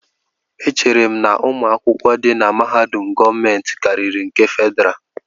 Echere m na ụmụ akwụkwọ di na mahadum gọọmentị karịri nke Fedrá